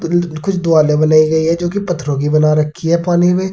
कुछ बनाई गई है जोकि पत्थरों की बना रखी है पानी में।